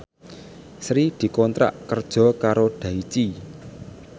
Sri dikontrak kerja karo Daichi